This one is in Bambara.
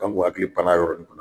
An kun hakili pann'a yɔrɔnin kunna